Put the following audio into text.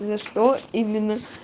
за что именно